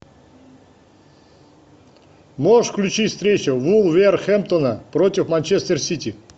можешь включить встречу вулверхэмптона против манчестер сити